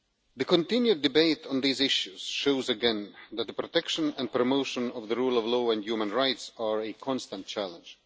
The continued debate on these issues shows again that the protection and promotion of the rule of law and human rights are a constant challenge.